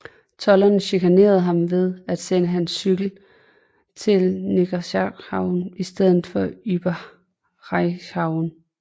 Tolderne chikanerede ham ved at sende hans cykel til Niederschreiberhau i stedet for Oberschreiberhau